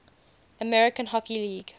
american hockey league